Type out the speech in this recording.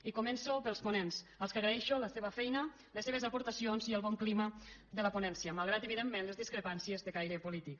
i començo pels ponents als quals agraeixo la seva feina les seves aportacions i el bon clima de la ponència malgrat evidentment les discrepàncies de caire polític